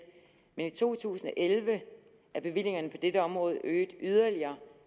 men i to tusind og elleve er bevillingerne på dette område øget yderligere